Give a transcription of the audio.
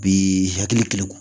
Bi hakili kilen